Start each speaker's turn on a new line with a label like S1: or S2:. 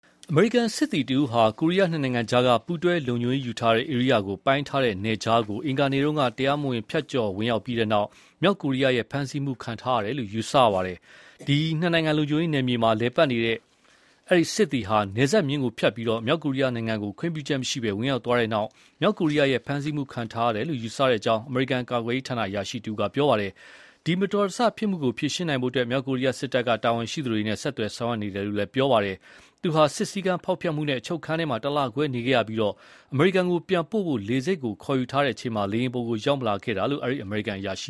S1: အမေရိကန်စစ်သည်တဦးဟာ ကိုရီးယားနှစ်နိုင်ငံကြား ပူးတွဲလုံခြုံရေးယူထားတဲ့ဧရိယာကို ပိုင်းထားတဲ့ နယ်ခြားကို အင်္ဂါနေ့က တရားမဝင်ဖြတ်ကျော်ဝင်ရောက်ပြီးနောက် မြောက်ကိုရီးယားရဲ့ ဖမ်းဆီးမှုခံ ထားရတယ်လို့ ယူဆရပါတယ်။ အဲဒီစစ်သည်ဟာ နှစ်နိုင်ငံလုံခြုံရေးယူထားတဲ့နယ်မြေမှာ သွားရောက် လည်ပတ်နေတဲ့အချိန် နယ်စပ်မျဉ်းကိုဖြတ်ပြီး မြောက်ကိုရီးယားနိုင်ငံကို ခွင့်ပြုချက်မရှိပဲ ဝင်ရောက်သွား ပြီးနောက် မြောက်ကိုရီးယားရဲ့ဖမ်းဆီးမှုခံထားရတယ်လို့ ယူဆတဲ့အကြောင်း အမေရိကန်ကာကွယ်ရေး ဌာန အရာရှိတဦးက ပြောပါတယ်။ ဒီမတော်တဆမှုကိုဖြေရှင်းနိုင်ဖို့ မြောက်ကိုရီးယားစစ်တပ်က တာဝန်ရှိသူတွေနဲ့ ဆက်သွယ်ဆောင်ရွက် နေတယ်လို့လည်း ပြောပါတယ်။ သူဟာ စည်းကမ်းဖျောက်ဖျက်မှုနဲ့ အချုပ်ခန်းထဲ တလခွဲနေခဲ့ရပြီး အမေရိကန်ကို ပြန်ပို့ဖို့ လေဆိပ်ခေါ်ယူချိန်မှာ လေယာဉ်ပေါ်ရောက်မလာခဲ့တာလို့ အဲဒီ အမေရိကန်အရာရှိ